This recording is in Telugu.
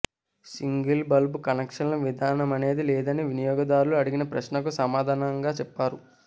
సింగిల్ బల్బు కనెక్షన్ల విధానమనేది లేదని వినియోగదారులు అడిగిన ప్రశ్నకు సమాధానంగా చెప్పారు